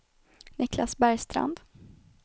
Niklas Bergstrand